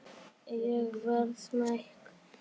Ég verð smeyk.